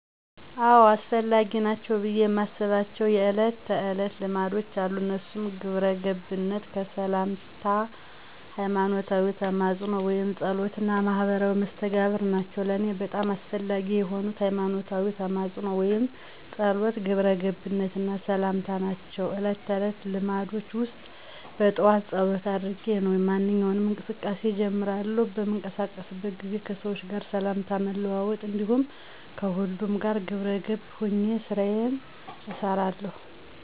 አዎ! አስፈላጊ ናቸው ብየ የማስባቸው የእለት ተዕለት ልማዶች አሉ። እነሱም ግብረገብነት፣ ከሠላምታ፣ ሀይማኖታዊ ተማፅኖ ወይም ፀሎት እና ማህበራዊ መስተጋብር ናቸው። ለእኔ በጣም አስፈላጊ የሆኑት፦ ሀይማኖታዊ ተማፅኖ ወይም ፀሎት፣ ግብረ ገብነት እና ሠላምታ ናቸው። እለት ተዕለት ልማዶቸ ውስጥ በጠዋት ፀሎት አድርጌ ነው ማንኛውንም እንቅስቃሴ እጀምራለሁ። በምንቀሳቀስበት ጊዜ ከሠዎች ጋር ሠላምታ መለዋወጥ እንዲሁም ከሁሉም ጋር ግብረ ገብ ሆኘ ስራየን እሠራለሁ።